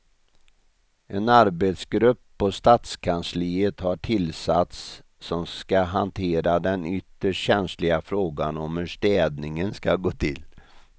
En arbetsgrupp på stadskansliet har tillsatts som ska hantera den ytterst känsliga frågan om hur städningen ska gå till.